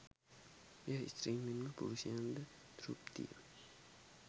එය ස්ත්‍රීන් මෙන්ම පුරුෂයන්ද තෘප්තිය